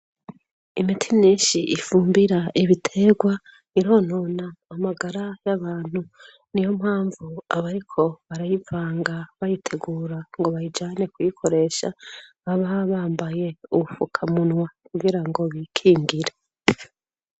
Imiti nenshi ifumbira ibiterwa ironona amagara y'abantu ni yo mpamvu abariko barayivanga bayitegura ngo bayijane kuyikoresha baba bambaye uwufuka munwa kugira ngo bikingire.